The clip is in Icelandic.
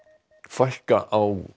fækka á